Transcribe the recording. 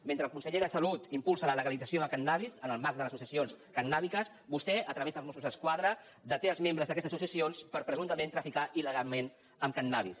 mentre el conseller de salut impulsa la legalització de cànnabis en el marc de les associacions cannàbiques vostè a través dels mossos d’esquadra deté els membres d’aquestes associacions per presumptament traficar illegalment amb cànnabis